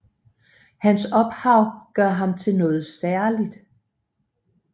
Hans ophav gør ham til noget særligt